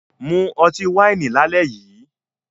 Mu ọtí wáìnì lálẹ́ yìí